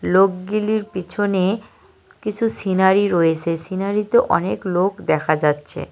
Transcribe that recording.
লোকগিলির পিছনে কিসু সিনারি রয়েসে সিনারি -তে অনেক লোক দেখা যাচ্ছে।